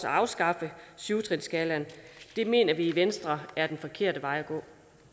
at afskaffe syv trinsskalaen mener vi i venstre er den forkerte vej at gå